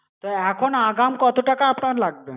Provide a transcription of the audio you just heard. তা এখন আগাম কত টাকা আপনার লাগবে?